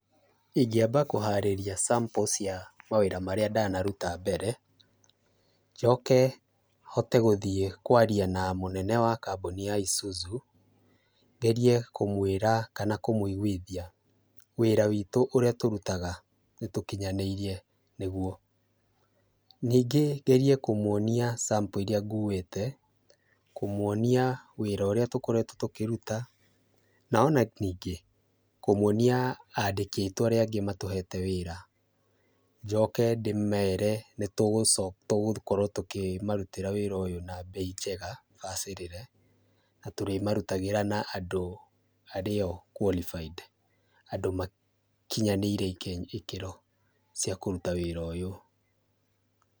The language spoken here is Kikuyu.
Ingĩamba kũharĩria sample cia mawĩra marĩa ndanaruta mbere, njoke hote gũthiĩ kwaria na mũnene wa kambuni ya ISUZU, ngerie kũmwĩra kana kũmũiguithia wĩra witũ ũrĩa tũrutaga nĩ tũkinyanĩirie nĩ guo. Ningĩ ngerie kũmwonia sample iria nguĩte, kũmwonia wĩra ũrĩa tũkoretwo tũkĩruta na ona ningĩ kũmwonia andĩki arĩa angĩ matũhete wĩra, njoke ndĩmere nĩ tũgũkorwo tũkĩmarutĩra wĩra ũyũ na mbei njega bacĩrĩre, na tũrĩ marutagĩra na andũ arĩo qualified andũ makinyanĩirie ikĩro cia kũruta wĩra ũyũ.